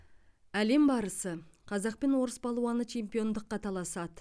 әлем барысы қазақ пен орыс палуаны чемпиондыққа таласады